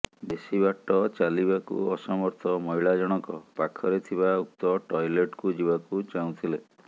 ବେଶୀ ବାଟ ଚାଲିବାକୁ ଅସମର୍ଥ ମହିଳାଜଣକ ପାଖରେ ଥିବା ଉକ୍ତ ଟଏଲେଟ୍କୁ ଯିବାକୁ ଚାହୁଥିଲେ